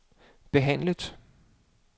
behandlet